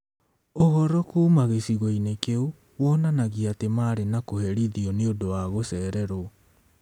Ũhoro kuuma gĩcigo-inĩ kĩu wonanagia atĩ maarĩ nĩ kũherithio nĩ ũndũ wa gũcererũo.